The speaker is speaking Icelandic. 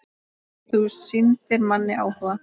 Því þú sýndir manni áhuga.